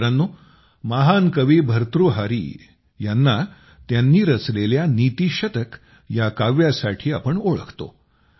मित्रांनो महान मनीषी कवी भर्तृहारी यांना त्यांनी रचलेल्या नीतीशतक या काव्यासाठी आम्ही सर्व ओळखतो